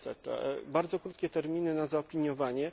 600. Są bardzo krótkie terminy na zaopiniowanie.